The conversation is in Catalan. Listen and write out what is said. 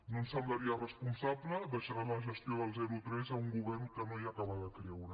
no ens semblaria responsable deixar la gestió del zero a tres a un govern que no hi acaba de creure